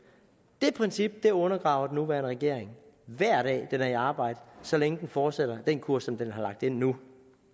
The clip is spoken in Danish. det princip undergraver den nuværende regering hver dag den er i arbejde så længe den fortsætter den kurs som den har lagt nu